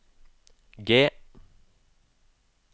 G